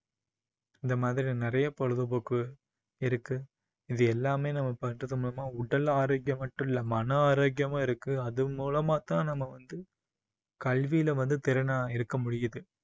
இந்த மாதிரி நிறைய பொழுதுபோக்கு இருக்கு இது எல்லாமே நம்ம பண்றது மூலமா உடல் ஆரோக்கியம் மட்டும் இல்லை மன ஆரோக்கியமும் இருக்கு அது மூலமாத்தான் நம்ம வந்து கல்வியில வந்து திறனா இருக்க முடியுது